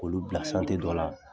K'olu bila santiri dɔ la.